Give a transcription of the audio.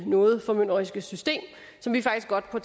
noget formynderiske system som vi faktisk godt på